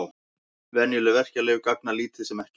Venjuleg verkjalyf gagna lítið sem ekkert.